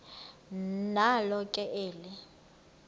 nalo ke eli